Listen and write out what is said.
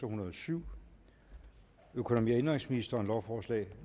hundrede og syv økonomi og indenrigsministeren lovforslag